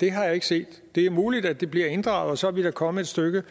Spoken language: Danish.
det har jeg ikke set det er muligt at det bliver inddraget og så er vi da kommet et stykke